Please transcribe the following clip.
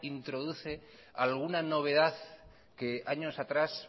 introduce alguna novedad que años atrás